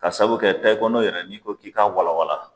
Ka sabu kɛ tayikono yɛrɛ n'i ko k'i ka walawala